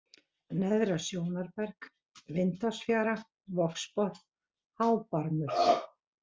Neðra-Sjónarberg, Vindásfjara, Vogsbotn, Hábarmur